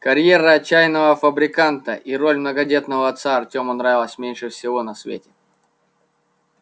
карьера чайного фабриканта и роль многодетного отца артему нравилась меньше всего на свете